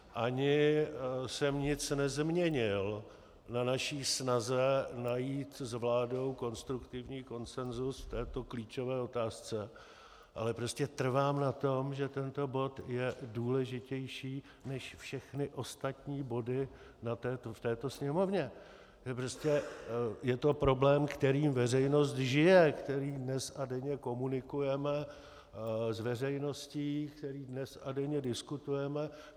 Ani jsem nic nezměnil na naší snaze najít s vládou konstruktivní konsenzus v této klíčové otázce, ale prostě trvám na tom, že tento bod je důležitější než všechny ostatní body v této Sněmovně, že prostě je to problém, kterým veřejnost žije, který dnes a denně komunikujeme s veřejností, který dnes a denně diskutujeme.